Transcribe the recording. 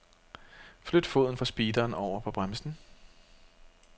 Flyt foden fra speederen over på bremsen.